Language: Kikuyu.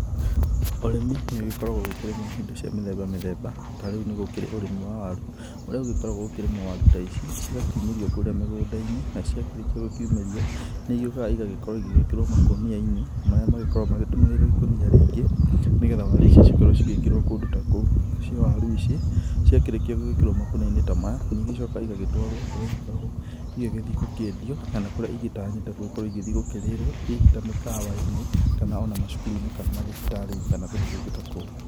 Ũrimĩ nĩ ũgĩkoragwo ũgĩkĩrĩmwo indo cia mĩthemba mĩthemba tarĩu nĩ kũrĩ ũrĩmi wa waru ũrĩa gũkoragwo gũkĩrĩmwo waru ta ici cigakĩumĩrio kũrĩa mĩgũnda-inĩ na cia kĩrĩkia gũkũmĩrio nĩ ĩgĩokaga ĩgagĩorwo igĩkĩrwo makũnia-inĩ marĩa makoragwo magĩtumĩrĩirwo ikũnia rĩngĩ nĩgetha waru icio cikorwo cigĩkĩrwo kũndũ ta kũu, nacio waru ta ici cia kĩrĩkio gwĩkĩrwo makũnia-inĩ ta maya nĩ igĩcokaga igagĩtwarwo kũrĩa igĩkoragwo igĩgĩthiĩ gũkĩendio kana kũrĩa igĩtanyĩte gũkĩrĩrwo hihi ta mĩkawa-inĩ kana ona macukuru-inĩ kana ona mathibitari-inĩ kana kũndũ kũngĩ ta kũu.